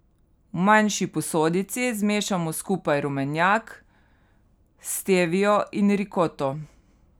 V manjši posodici zmešamo skupaj rumenjak, stevio in rikoto.